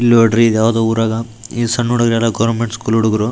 ಇಲ್ಲೊಂದ್ರಿ ಇದ್ಯಾವ್ದೋ ಉರಗ ಇಸ್ಸನ್ನಹುಡುಗ್ರೆಲ್ಲಾ ಗವರ್ನಮೆಂಟ್ ಸ್ಕೂಲ್ ಹುಡುಗ್ರು.